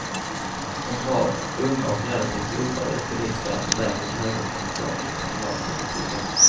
En rad unga och relativt oprövade politiker är på väg mot höga positioner i kommunalpolitiken.